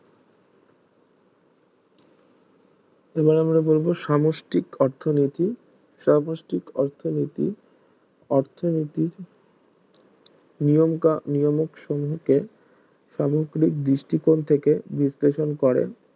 এবার আমরা বলব সামষ্টিক অর্থনীতি সামষ্টিক অর্থনীতি অর্থনীতির নিয়মিক সমুখে সামগ্রিক দৃষ্টি কোন থেকে বিশ্লেষণ করে